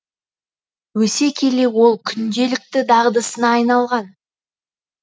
өсе келе ол күнделікті дағдысына айналған